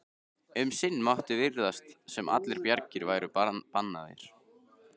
Um sinn mátti virðast sem allar bjargir væru bannaðar.